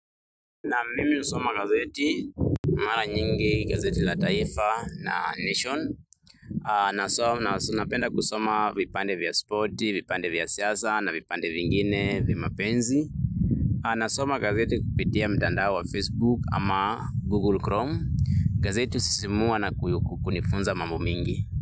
Naam mimi husoma gazeti mara nyingi gazeti la taifa na nation. Na haswa napenda kusoma vipande vya spoti, vipande vya siasa na vipande vingine vya mapenzi. Nasoma gazeti kupitia mtandao wa facebook ama google chrome gazeti husisimua na kunifunza mambo mingi.